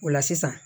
O la sisan